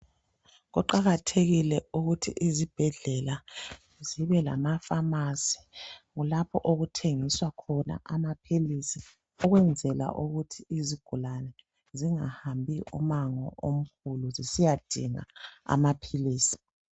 Kuqakathekile ukuthi izibhedlela zibe lamapharmacy. Lapho okuthengiswa khona amaphilisi. Ukwenzela ukuthi izigulane, zingahambi ummango omkhulu, zisiyadinga amaphilisi.